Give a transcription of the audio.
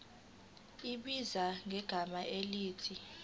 ibhizinisi ngegama elithi